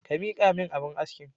Ka miƙamin abun askin.